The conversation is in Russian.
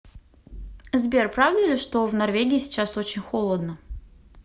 сбер правда ли что в норвегии сейчас очень холодно